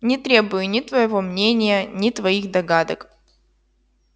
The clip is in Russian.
не требую ни твоего мнения ни твоих догадок